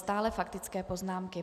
Stále faktické poznámky.